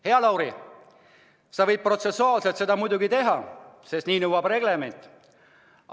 Hea Lauri, sa võid protsessuaalselt seda muidugi teha, sest nii nõuab reglement.